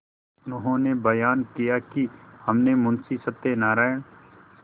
उन्होंने बयान किया कि हमने मुंशी सत्यनारायण